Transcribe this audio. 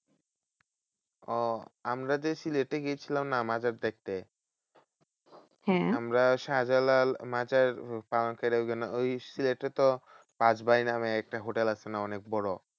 ওহ আমরা যে সিলেটে গেছিলাম না মাজার দেখতে? আমরা শাহজালাল মাজার পার্কের ওখানে ওই সিলেটে তো পাঁচ ভাই নামে একটা হোটেল আছে না অনেক বড়?